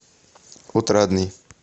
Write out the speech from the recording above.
отрадный